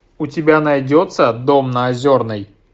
у тебя найдется дом на озерной